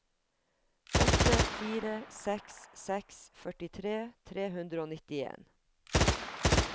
åtte fire seks seks førtitre tre hundre og nittien